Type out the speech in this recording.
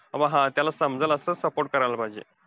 मग हा, त्याला समजेल असं support करायला पाहिजे.